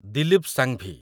Dilip Shambhi